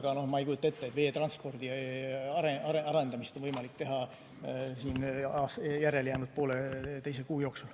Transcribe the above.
Ma siiski ei kujuta ette, et veetransporditaristu arendamist on võimalik teha järelejäänud poolteise kuu jooksul.